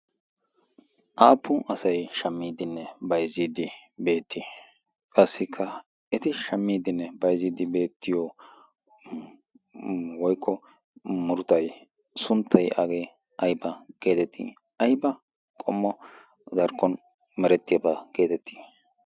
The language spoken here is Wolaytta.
aappun asai shammiiddinne baizziiddi beettii? qassikka eti shammiiddinne baiziiddi beettiyo woikko murtai sunttai aagee aiba geedettii? aiba qommo darkkon merettiyaabaa geedettii?